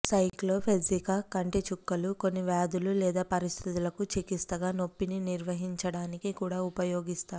సైక్లోపెప్జికా కంటి చుక్కలు కొన్ని వ్యాధులు లేదా పరిస్థితులకు చికిత్సగా నొప్పిని నిర్వహించడానికి కూడా ఉపయోగిస్తారు